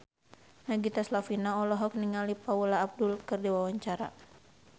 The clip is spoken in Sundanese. Nagita Slavina olohok ningali Paula Abdul keur diwawancara